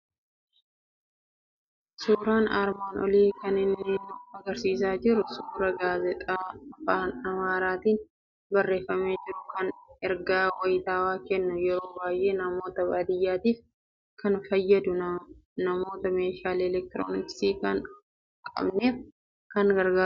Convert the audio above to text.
Suuraan armaan olii kan inni nu argisiisaa jiru suuraa gaazexaa Afaan Amaaraatiin barreeffamee jiru, kan ergaa wayitaawwaa kennu, yeroo baay'ee namoota baadiyaatiif kan fayyadu, namoota meeshaalee elektirooniksii hin qabneef kan gargaarudha.